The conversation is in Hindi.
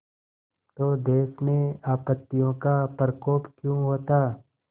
तो देश में आपत्तियों का प्रकोप क्यों होता